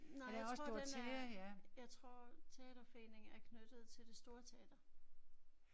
Nej jeg tror den er jeg tror teaterforeningen er knyttet til det store teater